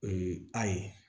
O ye a ye